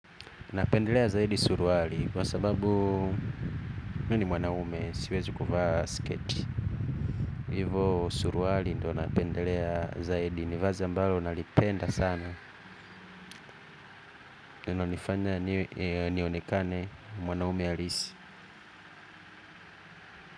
Napendelea zaidi suruali kwa sababu mimi ni mwanaume siwezi kuvaa sketi. Hivo suruali ndo napendelea zaidi ni vazi ambalo nalipenda sana inanifanya nionekane mwanaume halisi.